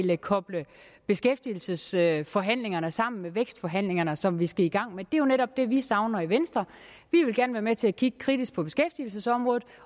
vil koble beskæftigelsesforhandlingerne sammen med vækstforhandlingerne som vi skal i gang med det er jo netop det vi savner i venstre vi vil gerne være med til at kigge kritisk på beskæftigelsesområdet